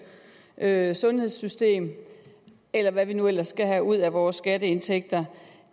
er at sundhedssystem eller hvad vi nu ellers skal have ud af vores skatteindtægter